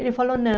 Ele falou,